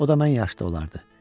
O da mən yaşda olardı.